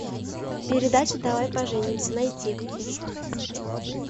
передача давай поженимся найти